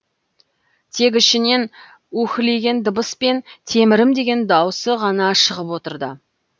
тек ішінен үһілеген дыбыс пен темірім деген даусы ғана шығып отырды